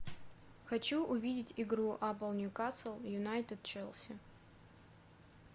хочу увидеть игру апл ньюкасл юнайтед челси